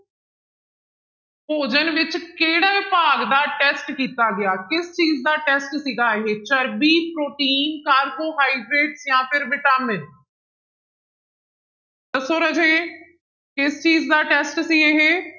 ਭੋਜਨ ਵਿੱਚ ਕਿਹੜੇ ਭਾਗ ਦਾ test ਕੀਤਾ ਗਿਆ, ਕਿਸ ਚੀਜ਼ ਦਾ test ਸੀਗਾ ਇਹ ਚਰਬੀ, ਪ੍ਰੋਟੀਨ, ਕਾਰਬੋਹਾਈਡ੍ਰੇਟ ਜਾਂ ਫਿਰ ਵਿਟਾਮਿਨ ਦੱਸੋ ਰਾਜੇ ਕਿਸ ਚੀਜ਼ ਦਾ test ਸੀ ਇਹ,